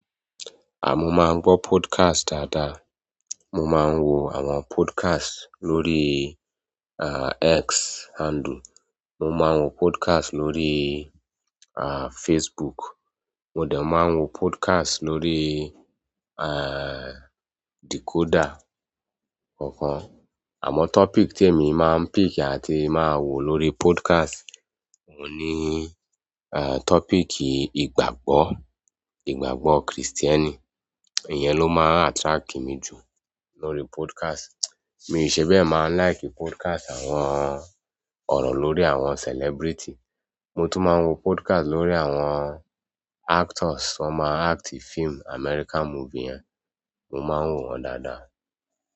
À, mo máa ń gbọ́ podcast dáadáa. Mo máa ń wo àwọn podcast lórí, à, X handle. Mo máa ń wo podcast lórí, à, Facebook. Mo dẹ maa n wo podcast lórí decoder kọ̀ọ̀kan amọ topic ti emi maa n pick a ti maa wo lórí podcast oun ni topic ìgbàgbọ́, ìgbàgbọ́ kristẹni. Ìyẹn ló máa ń attract mi jù lórí podcast. Mi i ṣe bẹ́ẹ̀ máa ń like podcast àwọn ọ̀rọ̀ lórí àwọn celebrity. Mo tún máa ń wo podcast lórí àwọn actors tí wọ́n máa ń act fíìmù American movie yẹn, mo máa ń wò wọ́n dáadáa.